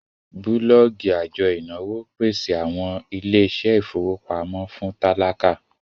bulọọgi ajo inawo pese awọn iṣẹ ile-ifowopamọ fun tálákà